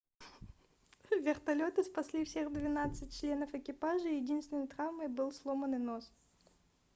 вертолёты спасли всех двенадцать членов экипажа и единственной травмой был сломанный нос